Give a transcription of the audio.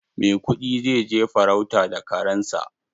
Maikudi zai je farauta da karen sa.